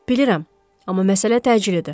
Bilirəm, amma məsələ təcilidir.